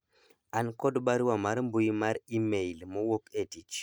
an kod barua mar mbui mar email mowuok e tich